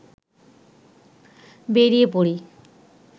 বেরিয়ে পড়ি